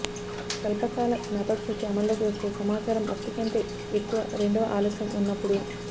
స్వల్ప కాల జ్ఞాపకశక్తి అమల్లోకి వస్తే సమాచారం ఒకటి కంటే ఎక్కువ రెండవ ఆలస్యం ఉన్నప్పుడు